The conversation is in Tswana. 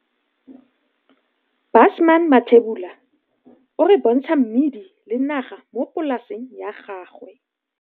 Caption - Busman Mathebula o re bontsha mmidi le naga mo polaseng ya gagwe.